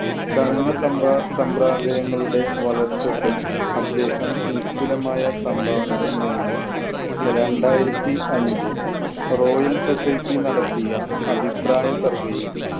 ചലന സംഭാ~ സംഭരദയങ്ങളുടെ വളർച്ചയ്ക്ക് അദ്ദേഹം നിസ്തുലമായ സംഭാവനകൾ നൽകി. രണ്ടായിരത്തി അഞ്ചില്‍ റോയൽ സൊസൈറ്റി നടത്തിയ അഭിപ്രായ survay യിൽ